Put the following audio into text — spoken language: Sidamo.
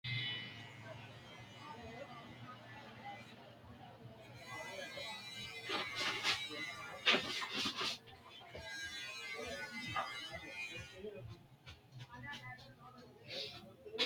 Baanata, be’ro hakkiicho uwino sina boci’ri? Kiirote giddo layinki gufora sinna noose? Shiqqino kiiro gufo afidhino? Shiqqino kiiro giddo shoolki gufora aanchito hiittenneeti?